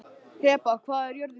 Heba, hvað er jörðin stór?